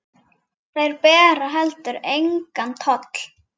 Þeir bera heldur engan toll.